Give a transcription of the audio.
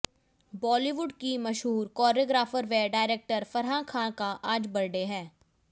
बॉलीवुड की मशहूर कोरियोग्राफर व डायरेक्टर फराह खान का आज बर्थडे है